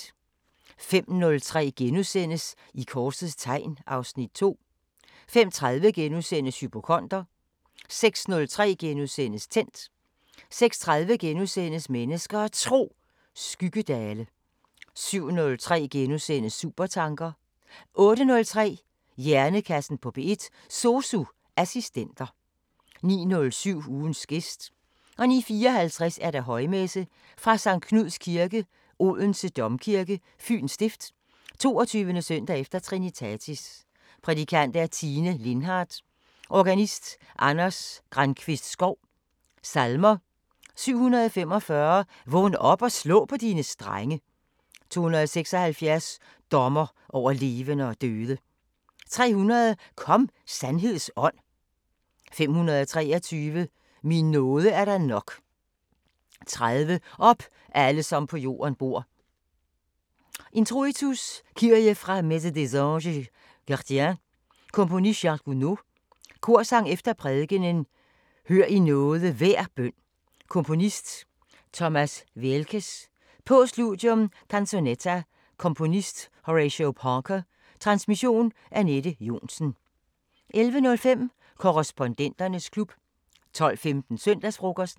05:03: I korsets tegn (Afs. 2)* 05:30: Hypokonder * 06:03: Tændt * 06:30: Mennesker og Tro: Skyggedale * 07:03: Supertanker * 08:03: Hjernekassen på P1: SOSU assistenter 09:07: Ugens gæst 09:54: Højmesse - Sct. Knuds Kirke, Odense Domkirke, Fyens Stift. 22. søndag efter Trinitatis. Prædikant: Tine Lindhardt. Organist: Anders Grankvist Schou. Salmer: 745: "Vågn op og slå på dine strenge" 276: "Dommer over levende og døde" 300: "Kom, sandheds Ånd!" 523: "Min nåde er dig nok" 30: "Op, alle som på jorden bor" Introitus: Kyrie fra Messe des Anges Gardiens. Komponist: Charles Gounod. Korsang efter prædikenen: "Hør i nåde hver bøn" Komponist: Thomas Weelkes. Postludium: Canzonetta. Komponist: Horatio Parker. Transmission: Anette Johnsen. 11:05: Korrespondenternes klub 12:15: Søndagsfrokosten